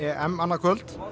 annað kvöld